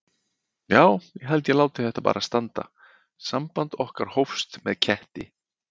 Já ég held ég láti þetta bara standa: samband okkar hófst með ketti.